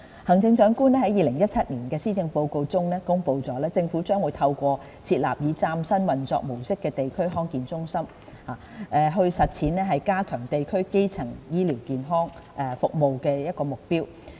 行政長官在2017年施政報告中公布，政府將透過設立以嶄新運作模式的地區康健中心，實踐加強地區基層醫療健康服務的目標。